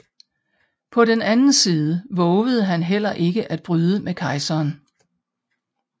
På den anden side vovede han heller ikke at bryde med kejseren